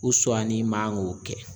ni man k'o kɛ.